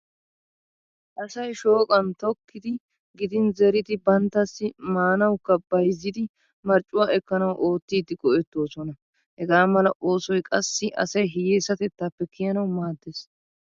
Asay shooqan tokkidi gidin zeridi banttassi maanwukka bayzzidi marccuwa ekkanawu oottidi go'ettoosona. Hegaa mala oosoy qassi asy hiyyeesatettaappe kiyanawu maaddees.